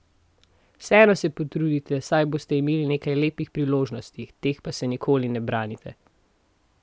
Vseeno se potrudite, saj boste imeli nekaj lepih priložnosti, teh pa se nikoli ne branite!